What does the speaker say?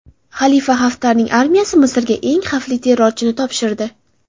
Xalifa Xaftarning armiyasi Misrga eng xavfli terrorchini topshirdi.